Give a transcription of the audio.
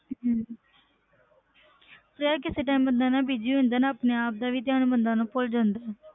ਤੇ ਕਿਸੇ time ਬੰਦੇ ਨਾ busy ਹੁੰਦਾ ਨਾ ਆਪਣੇ ਆਪ ਦਾ ਵੀ ਧਿਆਨ ਬੰਦੇ ਨੂੰ ਭੁੱਲ ਜਾਂਦਾ ਹੈ।